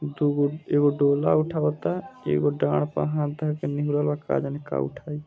दुगो एगो डोला उठावता एगो डार पर हाथ धाके नुहुरल बा का जाने का उठाइ।